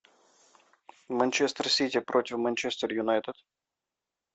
манчестер сити против манчестер юнайтед